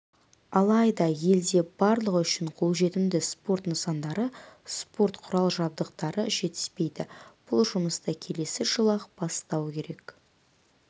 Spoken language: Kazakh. алайда елде барлығы үшін қолжетімді спорт нысандары спорт құрал-жабдықтары жетіспейді бұл жұмысты келесі жылы-ақ бастау керек